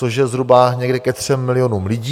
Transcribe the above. Což je zhruba někde ke třem milionům lidí.